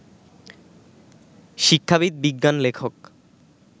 শিক্ষাবিদ, বিজ্ঞান লেখক